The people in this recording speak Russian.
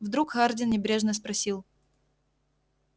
вдруг хардин небрежно спросил